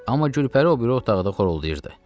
Amma Gülpəri o biri otaqda xoruldayırdı.